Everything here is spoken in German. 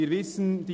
Wir wissen es: